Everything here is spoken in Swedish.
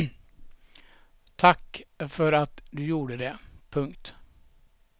Tack för att du gjorde det. punkt